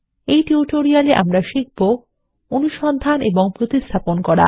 এই টিউটোরিয়ালএ আমরা শিখব160 অনুসন্ধান এবং প্রতিস্থাপন করা